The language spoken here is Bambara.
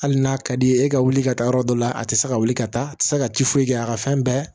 Hali n'a ka di ye e ka wuli ka taa yɔrɔ dɔ la a tɛ se ka wuli ka taa a tɛ se ka ci foyi kɛ a ka fɛn bɛɛ